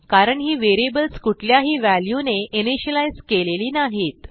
कारण ही व्हेरिएबल्स कुठल्याही व्हॅल्यूने इनिशियलाईज केलेली नाहीत